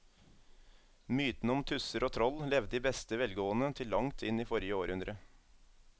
Mytene om tusser og troll levde i beste velgående til langt inn i forrige århundre.